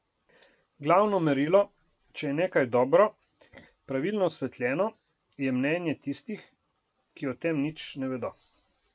Glavno merilo, če je nekaj dobro, pravilno osvetljeno, je mnenje tistih, ki o tem nič ne vedo.